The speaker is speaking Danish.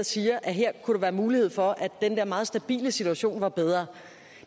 siger at her kunne der være mulighed for at den der meget stabile situation var bedre